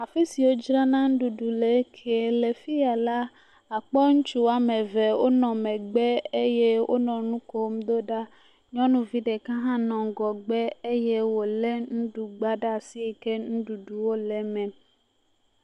afisi wó dzrana ŋuɖuɖu le ŋkɛɛ lɛ fiya la akpɔ ŋutsu wɔameve wónɔ megbe eye wónɔ ŋukom ɖoɖa nyɔnuvi ɖeka hã nɔ ŋgɔgbe eye wole nuɖugba ɖasi eye nuɖuɖu nɔ me